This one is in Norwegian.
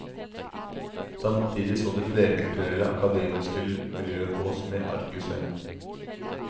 Samtidig så det flerkulturelle, akademiske miljøet på oss med argusøyne.